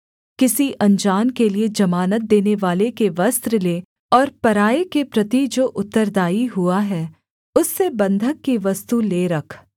किसी अनजान के लिए जमानत देनेवाले के वस्त्र ले और पराए के प्रति जो उत्तरदायी हुआ है उससे बँधक की वस्तु ले रख